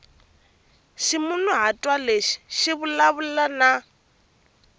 ximunhuhatwa lexi xi vulavula na